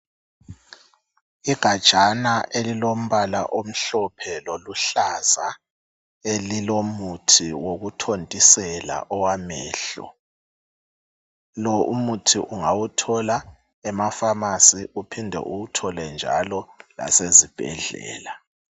Igajana elilombala omhlophe loluhlaza elilomuthi wokuthontisela owamehlo .Lo Umuthi ungawuthola emafamasi uphinde uwuthole njalo lasezibhedlela.